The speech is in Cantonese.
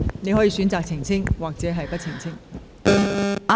你可以選擇是否澄清。